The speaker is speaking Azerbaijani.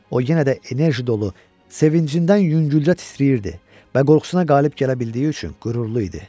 O yenə də enerji dolu, sevincindən yüngülcə titrəyirdi və qorxusuna qalib gələ bildiyi üçün qürurlu idi.